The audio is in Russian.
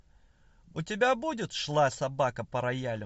у тебя будет шла собака по роялю